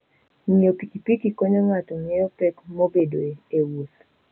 Ng'iyo pikipiki konyo ng'ato ng'eyo pek mabedoe e wuoth.